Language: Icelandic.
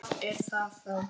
Hvað er það þá?